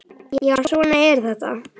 Já, svona er þetta.